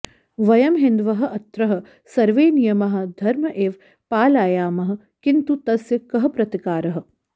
वयं हिन्दवः अत्र सर्वे नियमाः धर्म इव पालयामः किन्तु तस्य कः प्रतिकारः